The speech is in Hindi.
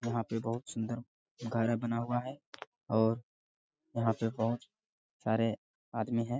यहाँ पे बोहोत सुंदर बना हुए हैं और यहाँ पे बोहोत सारे आदमी है।